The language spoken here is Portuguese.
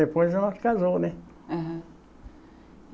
Depois nós casamos, né? É